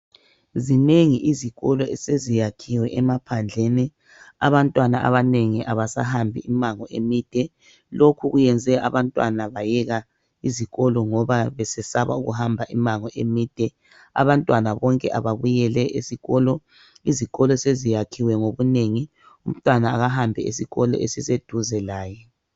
Zinengi izikolo eseziyakhiwe emaphandleni. Abantwana abanengi abasahambi imango emide. Lokhu kuyenze abantwana bayeka izikolo ngoba besesaba ukuhamba imango emide. Abantwana bonke ababuyele esikolo. Izikolo zesakhiwe ngobunengi. Umntwana akahambe esikolo esiseduze laye